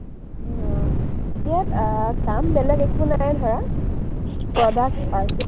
উম ইয়াত আহ কাম বেলেগ একো নাই ধৰা, product